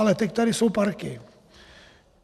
Ale teď tady jsou parky.